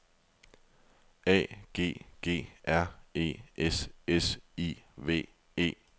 A G G R E S S I V E